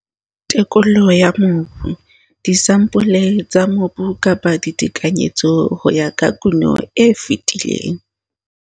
Tekolo ya mobu - disampole tsa mobu kapa ditekanyetso ho ya ka kuno e fetileng.